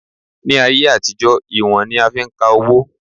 Ní ayé àtijọ́, ìwọ̀n ni a fi ń ka owó